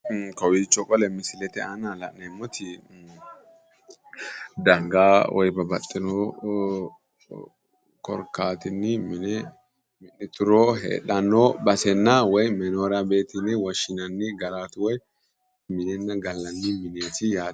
Kowiicho qole misilete aana la'neemmoti dangaa woy babbaxitino korkaatinni mine mi'nituro heedhanno basenna woy menoryabeeti yine woshinanni garaati woy minenna gallanni mineeti yaate.